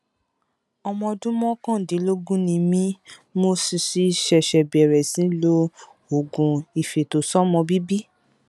ọmọ ọdún mọkàndínlógún ni mí mo sì sì ṣẹṣẹ bẹrẹ sí lo oògùn ìfètòsọmọbíbí